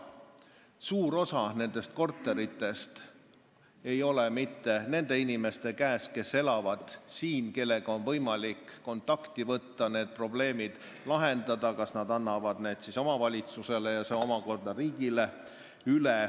Suur osa nendest korteritest ei ole mitte nende inimeste käes, kes siin elavad ja kellega on võimalik kontakti võtta, et need probleemid lahendada, nii et nad annaksid need korterid kas või omavalitsusele ja see omakorda riigile.